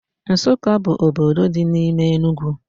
Nsukka bụ obodo dị n'ime Enugwu